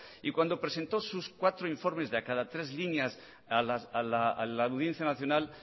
y cuando presentó sus cuatro informes de a cada tres líneas a la audiencia nacional